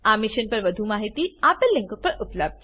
આ મિશન પર વધુ જાણકારી આપેલ લીંક પર ઉપબ્ધ છે